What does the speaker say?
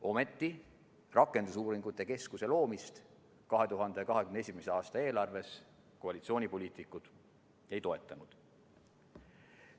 Ometi, rakendusuuringute keskuse loomist koalitsioonipoliitikud 2021. aasta eelarves ei toetanud.